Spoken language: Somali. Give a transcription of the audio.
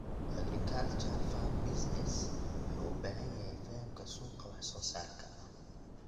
Agriculture Farm Business wuxuu u baahan yahay fahamka suuqa wax soo saarka.